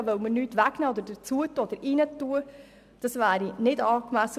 Von diesem wollen wir nichts wegnehmen, und diesem wollen wir nichts hinzufügen.